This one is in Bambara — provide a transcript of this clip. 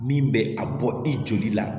Min bɛ a bɔ i joli la